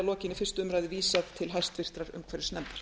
lokinni fyrstu umræðu vísað til hæstvirtrar umhverfisnefndar